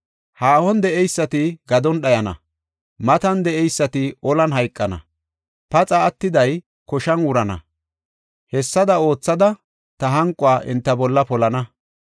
Haahon de7ey gadon dhayana; matan de7ey olan hayqana; paxa attiday, koshan wurana. Hessada oothada, ta hanquwa enta bolla polana.